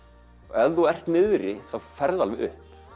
ef þú ert niðri ferðu alveg upp